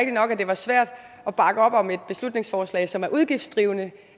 nok at det var svært at bakke op om et beslutningsforslag som er udgiftsdrivende